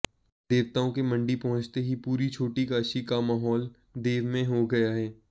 देवताओं के मंडी पहुंचते ही पूरी छोटी काशी का माहोल देवमय हो गया है